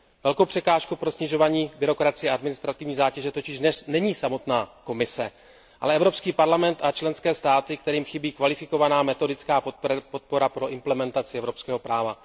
Velkou překážkou pro snižování byrokracie a administrativní zátěže totiž dnes není samotná Komise, ale Evropský parlament a členské státy, kterým chybí kvalifikovaná metodická podpora pro implementaci evropského práva.